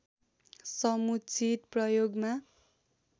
समुचित प्रयोगमा